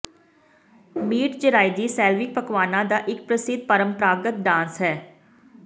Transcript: meat zrazy Slavic ਪਕਵਾਨਾਂ ਦਾ ਇਕ ਪ੍ਰਸਿੱਧ ਪਰੰਪਰਾਗਤ ਡਾਂਸ ਹੈ